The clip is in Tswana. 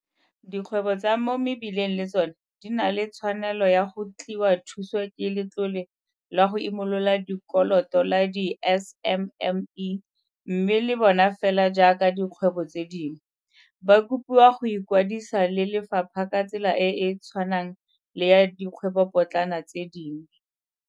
Dikgwebo tsa mo mebileng le tsona di na le tshwanelo ya go tliwa thuso ke Letlole la go Imolola Dikoloto la di-SMME mme le bona fela jaaka dikgwebo tse dingwe, ba kopiwa go ikwadisa le lefapha ka tsela e e tshwanang le ya dikgwebopotlana tse dingwe.